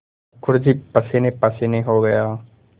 मुखर्जी पसीनेपसीने हो गया